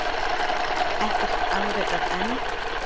Ekkert afrekað enn